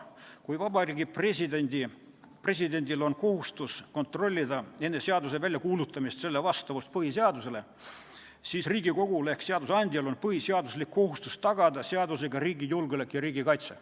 Kui Vabariigi Presidendil on kohustus kontrollida enne seaduse väljakuulutamist selle vastavust põhiseadusele, siis Riigikogul ehk seadusandjal on põhiseaduslik kohustus tagada seadusega riigi julgeolek ja kaitse.